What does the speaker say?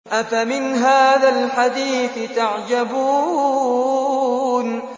أَفَمِنْ هَٰذَا الْحَدِيثِ تَعْجَبُونَ